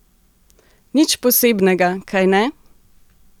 Nič posebnega, kajne?